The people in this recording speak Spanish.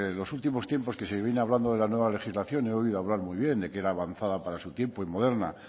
los últimos tiempos que se viene hablando de la nueva legislación he oído hablar muy bien de que era avanzada para su tiempo y moderna